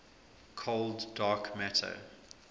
cold dark matter